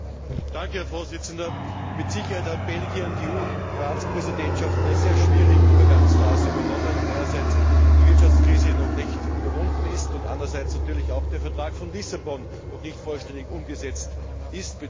Herr Präsident! Mit Sicherheit hat Belgien die EU Ratspräsidentschaft in einer sehr schwierigen Übergangsphase übernommen, da einerseits die Wirtschaftskrise noch nicht überwunden ist und andererseits natürlich auch der Vertrag von Lissabon noch nicht vollständig umgesetzt ist bzw.